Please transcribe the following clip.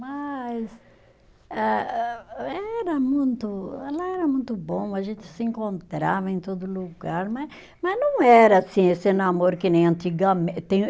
Mas eh ah, era muito, ela era muito bom, a gente se encontrava em todo lugar, mas mas não era assim esse namoro que nem antigamente